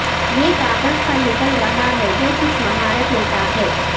یہ کاغذ پر نکل رہا ہے جو کچھ مہارت لیتا ہے